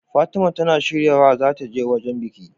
Fatima tAna shiryawa zata je wajan biki